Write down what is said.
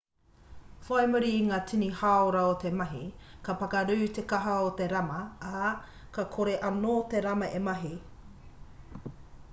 whai muri i ngā tini hāora o te mahi ka pakarū te kaka o te rama ā ka kore anō te rama e mahi